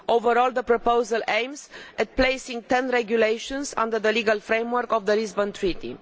Overall the proposal aims at placing ten regulations under the legal framework of the Lisbon Treaty.